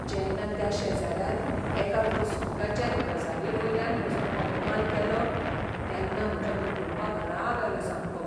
जेन्ना त्या शेजाऱ्यान एका कुस्कूटाचे गजालीवयल्यान म्हजो अपमान केलो तेन्ना म्हज्या कुटूंबाक राग आयलो सामको.